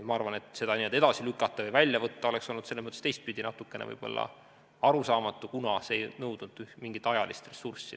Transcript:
Ma arvan, et seda edasi lükata või välja võtta oleks olnud teistpidi natukene võib-olla arusaamatu, kuna see ei nõudnud mingit ajalist ressurssi.